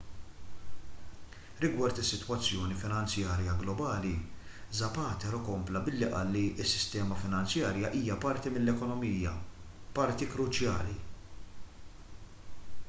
rigward is-sitwazzjoni finanzjarja globali zapatero kompla billi qal li s-sistema finanzjarja hija parti mill-ekonomija parti kruċjali